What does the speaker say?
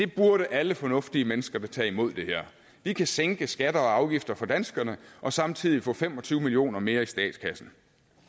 burde alle fornuftige mennesker da tage imod vi kan sænke skatter og afgifter for danskerne og samtidig få fem og tyve million kroner mere i statskassen